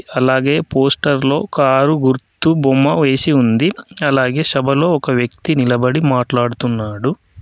అలాగే పోస్టర్లో కారు గుర్తు బొమ్మ వేసి ఉంది. అలాగే సభలో ఒక వ్యక్తి నిలబడి మాట్లాడుతున్నాడు.